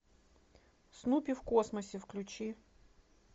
снупи в космосе включи